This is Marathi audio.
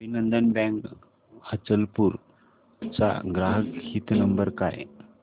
अभिनंदन बँक अचलपूर चा ग्राहक हित नंबर